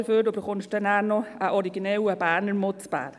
Dafür erhalten Sie später noch einen originellen Berner Mutz.